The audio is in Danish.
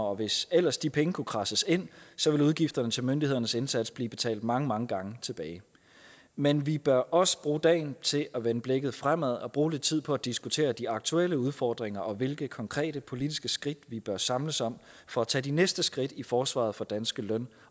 og hvis ellers de penge kunne kradses ind ville udgifterne til myndighedernes indsats blive betalt mange mange gange tilbage men vi bør også bruge dagen til at vende blikket fremad og bruge tid på at diskutere de aktuelle udfordringer og hvilke konkrete politiske skridt vi bør samles om for at tage de næste skridt i forsvaret for danske løn